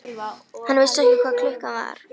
Hann vissi ekki hvað klukkan var.